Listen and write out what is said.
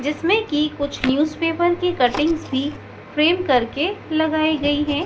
जिसमें की कुछ न्यूज़पेपर की कटिंग्स भी फ्रेम करके लगाई गई हैं।